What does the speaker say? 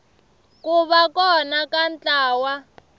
ku va kona ka ntlawa